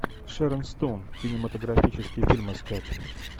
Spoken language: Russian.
шерон стоун кинематографический фильм искать